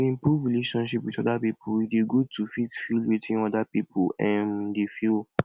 to improve relationship with oda pipo e dey good to fit feel wetin oda pipo um dey feel